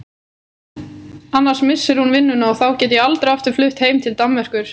Annars missir hún vinnuna og þá get ég aldrei aftur flutt heim til Danmerkur.